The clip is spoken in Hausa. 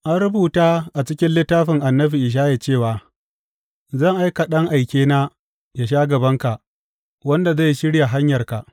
An rubuta a cikin littafin annabi Ishaya cewa, Zan aika da ɗan aikena yă sha gabanka, wanda zai shirya hanyarka,